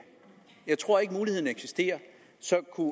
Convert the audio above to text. jeg tror ikke muligheden eksisterer så kunne